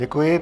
Děkuji.